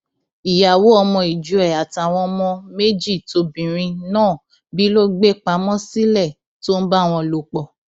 ìyàwó ọmọ ìjọ ẹ àtàwọn ọmọ méjì tóbìnrin náà bí ló gbé pamọ sílẹ tó ń bá wọn lò pọ